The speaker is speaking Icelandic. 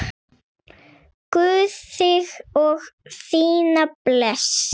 Guð þig og þína blessi.